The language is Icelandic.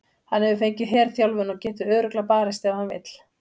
Hann hefur fengið herþjálfun og getur örugglega barist ef hann vill.